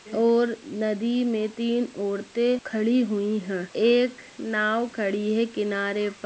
और नदी में तीन औरतें खड़ी हुई है एक नाव खड़ी है किनारे प --